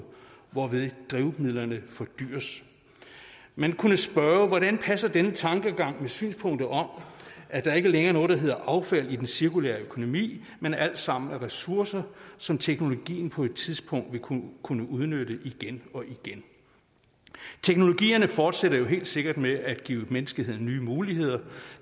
hvorved drivmidlerne fordyres man kunne spørge hvordan denne tankegang passer med synspunktet om at der ikke længere er noget der hedder affald i den cirkulære økonomi men alt sammen er ressourcer som teknologien på et tidspunkt vil kunne kunne udnytte igen og igen teknologierne fortsætter jo helt sikkert med at give menneskeheden nye muligheder